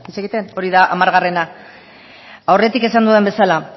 egiten hori da hamargarrena aurretik esan dudan bezala